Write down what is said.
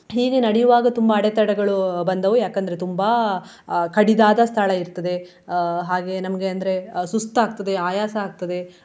ಹೀಗೆ ನಡೆಯುವಾಗ ತುಂಬಾ ಅಡೆತಡೆಗಳು ಬಂದವು ಯಾಕಂದ್ರೆ ತುಂಬಾ ಅಹ್ ಕಡಿದಾದ ಸ್ಥಳ ಇರ್ತದೆ. ಅಹ್ ಹಾಗೆ ನಮ್ಗೆ ಅಂದ್ರೆ ಸುಸ್ತಾಗ್ತದೆ ಆಯಾಸ ಆಗ್ತದೆ.